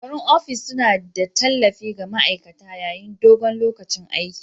Kujerun ofis suna ba da tallafi ga ma'aikata yayin dogon lokacin aiki.